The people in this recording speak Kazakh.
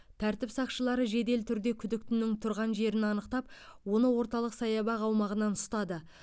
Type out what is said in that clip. тәртіп сақшылары жедел түрде күдіктінің тұрған жерін анықтап оны орталық саябақ аумағынан ұстады